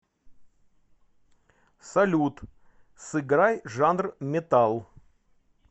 салют сыграй жанр металл